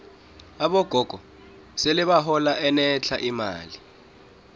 abogogo sele bahola enetlha imali